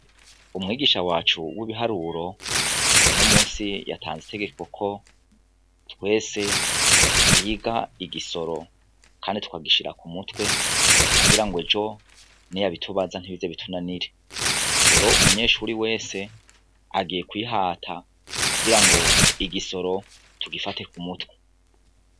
Umwigisha wacu w'ibiharuro uno munsi yatanze itegeko ko twese twiga igisoro kandi tukagishira ku mutwe kugirango ejo niyabitubaza ntibize bitunanire, rero umunyeshuri wese agiye kwihata kugirango igisoro tugifate k'umutwe.